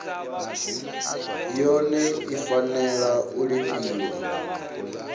yone i fanela u lifhiwa